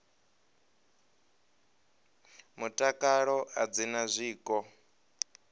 mutakalo a dzi na zwiko